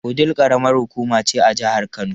Wudil karamar hukuma ce a jihar Kano.